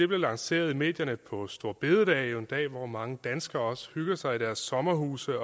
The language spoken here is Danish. blev lanceret i medierne på store bededag i en dag hvor også mange danskere hygger sig i deres sommerhuse